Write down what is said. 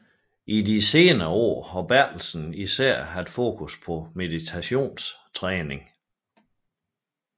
I de senere år har Bertelsen især haft fokus på meditationstræning